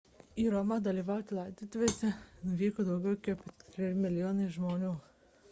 į romą dalyvauti laidotuvėse nuvyko daugiau kaip keturi milijonai žmonių